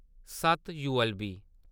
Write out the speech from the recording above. सत्त-यूएलबी